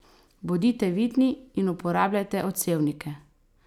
Bodite vidni in uporabljajte odsevnike!